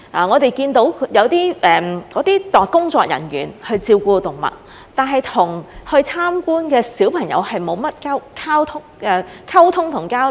我們看到有些工作人員照顧動物，但他們與參觀的小朋友沒有甚麼溝通和交流。